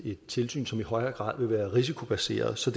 et tilsyn som i højere grad vil være risikobaseret så